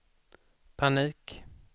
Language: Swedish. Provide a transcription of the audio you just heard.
panik